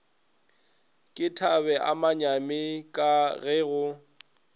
ke thabeamanyi ka ge go